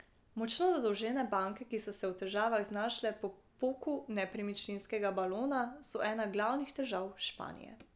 Močno zadolžene banke, ki so se v težavah znašle po poku nepremičninskega balona, so ena glavnih težav Španije.